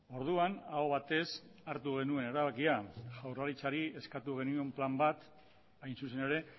orduan aho batez hartu genuen erabakia jaurlaritzari eskatu genion plan bat hain zuzen ere